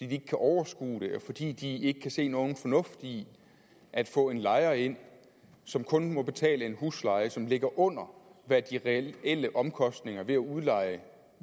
de ikke kan overskue det og fordi de ikke kan se nogen fornuft i at få en lejer ind som kun må betale en husleje som ligger under hvad de reelle omkostninger ved at udleje